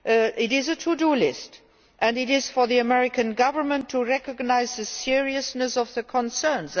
It is a to do list, and it is up to the American government to recognise the seriousness of our concerns.